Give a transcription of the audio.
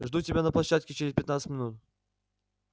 жду тебя на площадке через пятнадцать минут